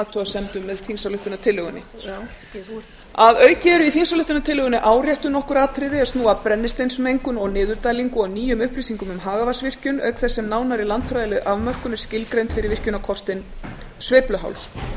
athugasemdum með þingsályktunartillögunni að auki eru í þingsályktunartillögunni áréttuð nokkur atriði er snúa að brennisteinsmengun og niðurdælingu og nýjum upplýsingum um hagavatnsvirkjun auk þess sem nánari landfræðileg afmörkun er skilgreind fyrir virkjunarkostinn sveifluháls